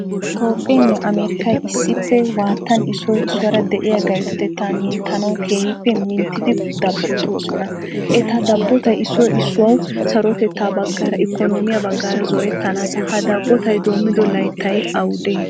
Toophphenne Amarikkay issippe waatan issoy issuwara deiya gayttoteta minttanawu keehippe minttidi dabotoosona. Etta dabottay issoy issuwayo sarotetta baggaara, ikkonomiya baggaara zorettanasa. Ha dabbotay doomido layttay awude?